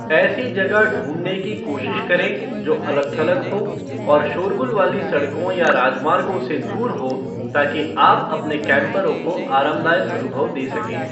ऐसी जगह ढूंढने की कोशिश करें जो अलग थलग हो और शोरगुल वाली सड़कों या राजमार्गों से दूर हो ताकि आप अपने कैम्परों को आरामदायक अनुभव दे सकें।